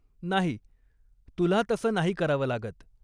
नाही. तुला तसं नाही करावं लागत.